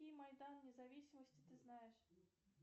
майдан независимости ты знаешь